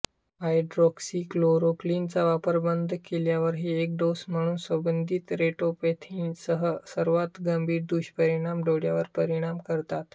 हायड्रॉक्सीक्लोरोक्वीनचा वापर बंद केल्यावरही एक डोस म्हणून संबंधित रेटिनोपैथीसह सर्वात गंभीर दुष्परिणाम डोळ्यावर परिणाम करतात